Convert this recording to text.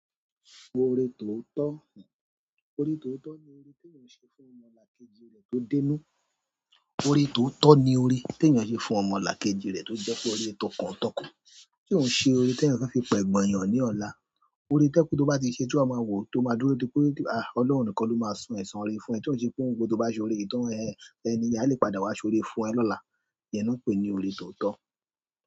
Ọ̀rẹ́ tó tọ́, ọ̀rẹ́ tó tọ́ ni orí tí èèyàn ṣe fún ọmọlàkejì rẹ̀ tó dínú. Ọ̀rẹ́ tó tọ́ ni ọ̀rẹ́ tí èèyàn le fún ọmọlàkejì rẹ̀ tó jẹ́ pé ọ̀rẹ́ tó kàn tọ́kan, tí òun ṣe ọ̀rẹ́ tí èèyàn fe fi pẹ̀gbọ̀n èèyàn ní ọ̀la. Ọ̀rẹ́ toje tó bá ti ṣe tí wa máa wò, tó máa dúró dipé, à Ọlọ́run nìkan ló máa san ẹ̀san re fún ẹ. Tí òun ṣe pé ohun ngba tó bá ṣe ọ̀rẹ́ yìí tan ẹn, ẹni yẹn a lè padà wá ṣe ọ̀rẹ́ fún ẹ lọ́la. Iyẹn náà pè é ní ọ̀rẹ́ tó tọ́.